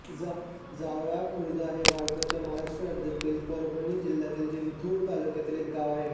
जावळा खुर्द हे भारताच्या महाराष्ट्र राज्यातील परभणी जिल्ह्यातील जिंतूर तालुक्यातील एक गाव आहे